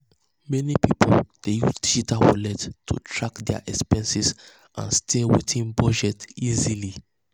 meni pipul dey use digital wallets to track dia expenses and stay within budget easily.